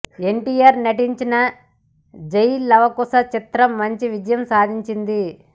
ఎన్టీఆర్ నటించిన జై లవకుశ చిత్రం మంచి విజయం సాధించింది